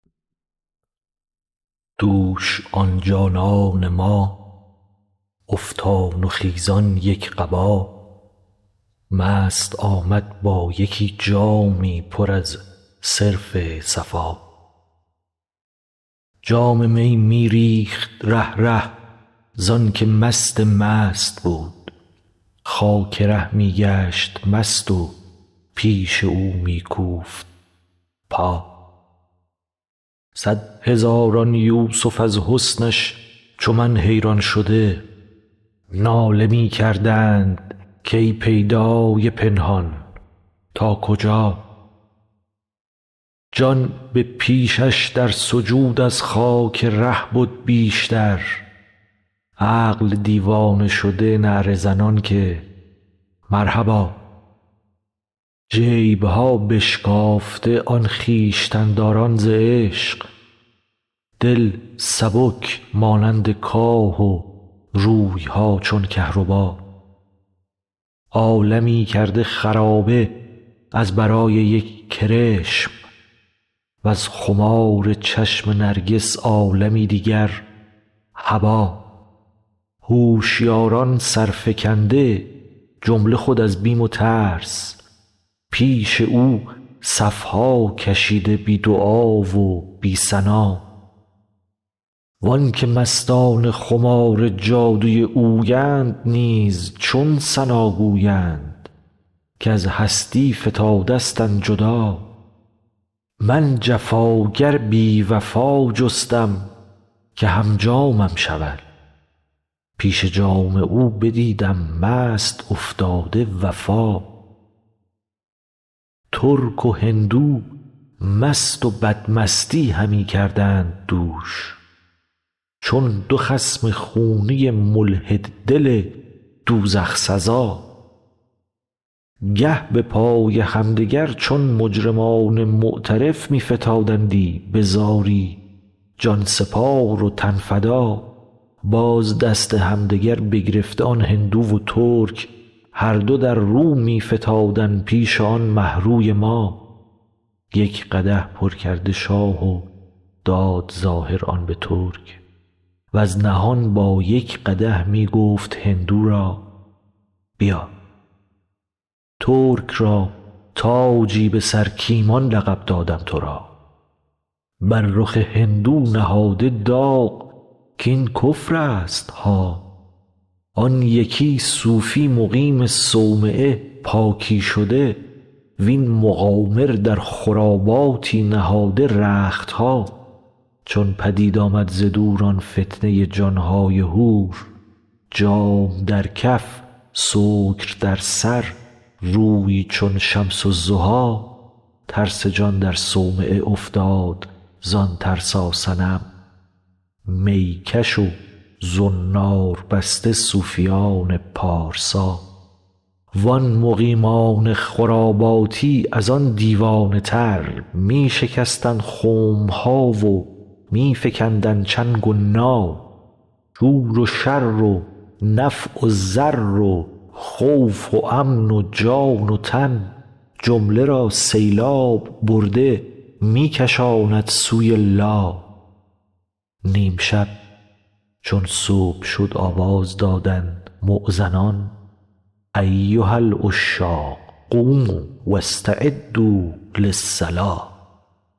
دوش آن جانان ما افتان و خیزان یک قبا مست آمد با یکی جامی پر از صرف صفا جام می می ریخت ره ره زانک مست مست بود خاک ره می گشت مست و پیش او می کوفت پا صد هزاران یوسف از حسنش چو من حیران شده ناله می کردند کی پیدای پنهان تا کجا جان به پیشش در سجود از خاک ره بد بیشتر عقل دیوانه شده نعره زنان که مرحبا جیب ها بشکافته آن خویشتن داران ز عشق دل سبک مانند کاه و روی ها چون کهربا عالمی کرده خرابه از برای یک کرشم وز خمار چشم نرگس عالمی دیگر هبا هوشیاران سر فکنده جمله خود از بیم و ترس پیش او صف ها کشیده بی دعا و بی ثنا و آنک مستان خمار جادوی اویند نیز چون ثنا گویند کز هستی فتادستند جدا من جفاگر بی وفا جستم که هم جامم شود پیش جام او بدیدم مست افتاده وفا ترک و هندو مست و بدمستی همی کردند دوش چون دو خصم خونی ملحد دل دوزخ سزا گه به پای همدگر چون مجرمان معترف می فتادندی به زاری جان سپار و تن فدا باز دست همدگر بگرفته آن هندو و ترک هر دو در رو می فتادند پیش آن مه روی ما یک قدح پر کرد شاه و داد ظاهر آن به ترک وز نهان با یک قدح می گفت هندو را بیا ترک را تاجی به سر کایمان لقب دادم تو را بر رخ هندو نهاده داغ کاین کفرستها آن یکی صوفی مقیم صومعه پاکی شده وین مقامر در خراباتی نهاده رخت ها چون پدید آمد ز دور آن فتنه جان های حور جام در کف سکر در سر روی چون شمس الضحی ترس جان در صومعه افتاد زان ترساصنم می کش و زنار بسته صوفیان پارسا وان مقیمان خراباتی از آن دیوانه تر می شکستند خم ها و می فکندند چنگ و نا شور و شر و نفع و ضر و خوف و امن و جان و تن جمله را سیلاب برده می کشاند سوی لا نیم شب چون صبح شد آواز دادند مؤذنان ایها العشاق قوموا و استعدوا للصلا